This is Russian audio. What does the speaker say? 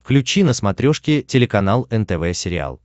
включи на смотрешке телеканал нтв сериал